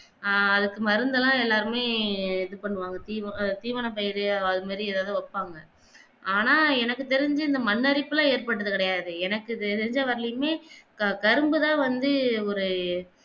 ஆஹ் அதுக்கு மருந்தெல்லாம் எல்லாருமே இது பண்ணுவாங்க திவ எர் தீவன பயிரையோ அது மாதிரி எதாவது வெப்பாங்க ஆனா எனக்கு தெரிஞ்சு இந்த மன்னரிப்பெல்லாம் ஏட்பட்டது கிடையாது எனக்கு தெரிஞ்ச வரைலேமே கரும்பு தான் வந்து ஒரு